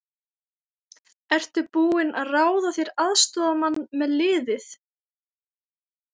Ertu búinn að ráða þér aðstoðarmann með liðið?